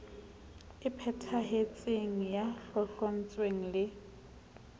e phethahetseng ya tlotlontswe le